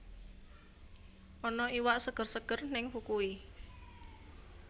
Ana iwak seger seger ning Fukui